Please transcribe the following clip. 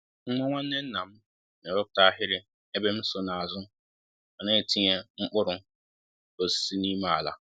Nwa nwanne nna m n'ewepụta ahiri ,ébé m so n'azụ ma n'etinye mkpụrụ osisi n'ime ala